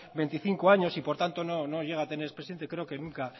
veinticinco años y por tanto no llega a tener ex presidente creo que